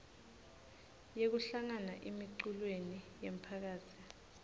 yekuhlangana emiculweni yemphakatsi